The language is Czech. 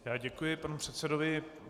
Já děkuji panu předsedovi.